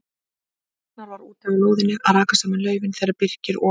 Ragnar var úti á lóðinni að raka saman laufi þegar Birkir og